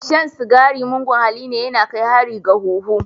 Shan cigari mugun halli ne, ya na kai hari ga huhu.